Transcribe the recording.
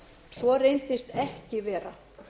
svo reyndist ekki vera